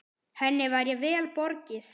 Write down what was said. Henni væri vel borgið.